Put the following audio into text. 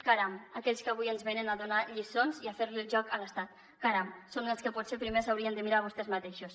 caram aquells que avui ens venen a donar lliçons i a fer li el joc a l’estat caram són els que potser primer s’haurien de mirar vostès mateixos